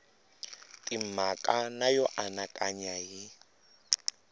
timhaka na yo anakanya hi